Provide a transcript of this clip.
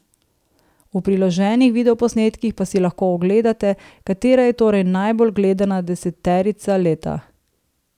V priloženih videoposnetkih pa si lahko ogledate, katera je torej najbolj gledana deseterica leta ...